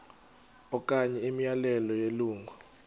okanye imiyalelo yelungu